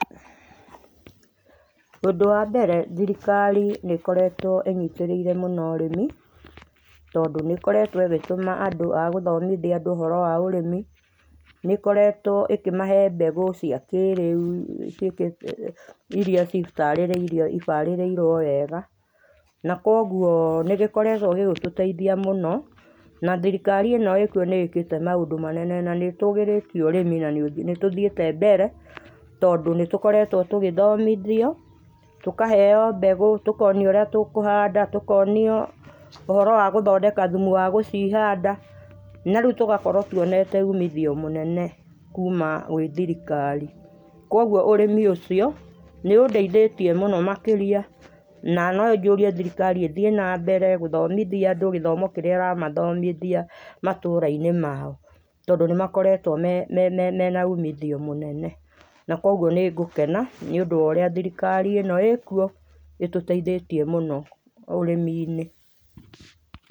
Ũndũ wa mbere thirikari nĩ ĩkoretwo ĩ nyĩtĩrĩire mũno arĩmi, tondũ nĩ ĩkoretwo ĩgĩtũma andũ agũthomithia andũ ũhoro wa ũrĩmi, nĩ ĩkoretwo ĩkĩmahe mbegũ cia kĩ rĩũ, ĩrĩa cita citĩrĩirirwo wega, na kũogũo nĩ ĩgĩkoretwo ĩgĩtũteithia mũno na thirikari ĩno kũo nĩ ĩkĩte maũndũ manene na nĩitũgĩrĩtie ũrĩmi, na nitũthiĩte mbere, tondũ nĩtũkorwtwo tũgĩthomithio, tũkaheo mbegũ, tũkonio ũria tũkũhanda na rĩũ tũgakorwo tũonete ũmithio mũnene kũma gwĩ thirikari, kũogũo ũrĩmi ũcio nĩũndeĩthĩtie mũno makĩria, na no njũrie thirikari ĩthiĩ na mbere na gũthomithia andũ gĩthomo kĩrĩa ĩramathomithia matũra-inĩ ma o, tondũ nĩmakoretwo mena ũmithio mũnene, na kũogũo nĩ ngũkena nĩũndũ wa ũrĩa thirikari ĩno ĩ kuo ĩtũteithĩtie mũno ũrĩmi-inĩ.